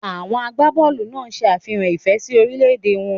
Àwọn àgbàbọọlu náà se àfihàn ìfẹ́ sí orílè-èdè wọn